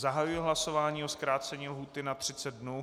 Zahajuji hlasování o zkrácení lhůty na 30 dnů.